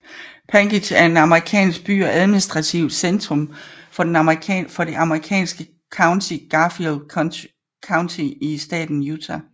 Panguitch er en amerikansk by og administrativt centrum for det amerikanske county Garfield County i staten Utah